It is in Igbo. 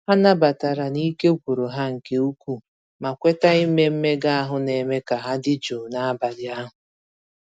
Ha nabatara n'ike gwụrụ ha nke ukwuu, ma kweta ime mmega ahụ na-eme ka ha dị jụụ n'abalị ahụ.